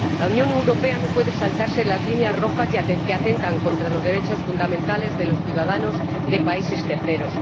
La Unión Europea no puede saltarse las líneas rojas que atentan contra los derechos fundamentales de los ciudadanos de países terceros.